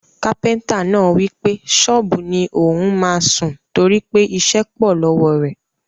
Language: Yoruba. Kápẹ́ntà náà wípé sọ́ọ́bù ni ò ún máa sùn, toripe iṣẹ́ pọ̀ lọ́wọ́ rẹ̀